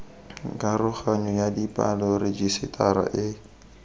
karoganyo ya dipalo rejisetara e